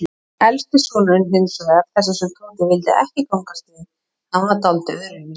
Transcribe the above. Elsti sonurinn hinsvegar, þessi sem Tóti vildi ekki gangast við, hann var dáldið öðruvísi.